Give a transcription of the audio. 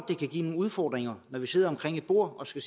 det kan give nogle udfordringer når vi sidder omkring et bord og skal